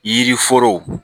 Yiri foro